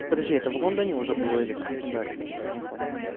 подожди это в лондоне уже была или в краснодаре я так и не понял